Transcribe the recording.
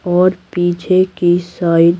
और पीछे की साइड --